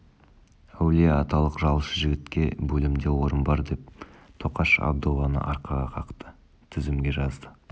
әулие-аталық жалшы жігітке бөлімде орын бар деп тоқаш абдолланы арқаға қақты тізімге жазды